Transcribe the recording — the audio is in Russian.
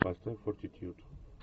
поставь фортитьюд